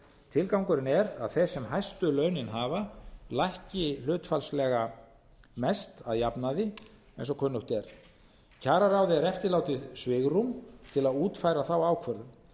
tilgangurinn er að þeir sem hæstu launin hafa lækki hlutfallslega mest að jafnaði eins og kunnugt er kjararáði er eftirlátið svigrúm til að útfæra þá ákvörðun